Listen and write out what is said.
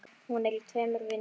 Hún er í tveimur vinnum.